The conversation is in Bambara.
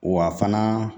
Wa fana